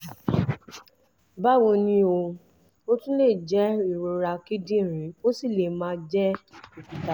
báwo ni o? ó tún lè jẹ́ ìrora kíndìnrín ó sì lè máà jẹ́ òkúta